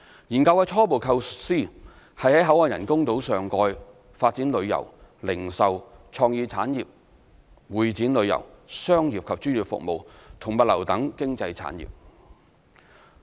研究的初步構思是在口岸人工島上蓋發展旅遊、零售、創意產業、會展旅遊、商業及專業服務和物流等經濟產業。